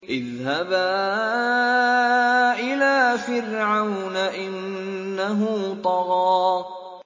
اذْهَبَا إِلَىٰ فِرْعَوْنَ إِنَّهُ طَغَىٰ